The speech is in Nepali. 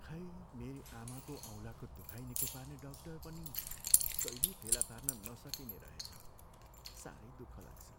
खै मेरी आमाको औँलाको दुखाइ निको पार्ने डाक्टर पनि कहिल्यै फेला पार्न नसकिने रहेछ। साह्रै दुःख लाग्छ।